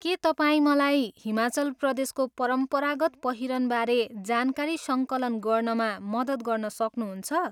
के तपाईँ मलाई हिमाचल प्रदेशको परम्परागत पहिरनबारे जानकारी सङ्कलन गर्नमा मद्दत गर्न सक्नुहुन्छ?